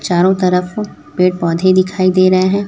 चारों तरफ पेड़ पौधे दिखाई दे रहे हैं।